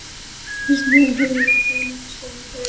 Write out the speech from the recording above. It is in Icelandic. Við snerum heim- í litlu einangrunarstöðina fyrir óhljóð barna.